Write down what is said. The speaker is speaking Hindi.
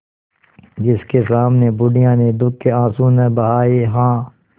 जिसके सामने बुढ़िया ने दुःख के आँसू न बहाये हां